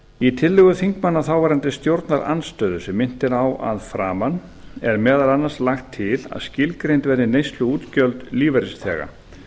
í tillögu þingmanna þáverandi stjórnarandstöðu sem minnt er á að framan er meðal annars lagt til að skilgreind verði neysluútgjöld lífeyrisþega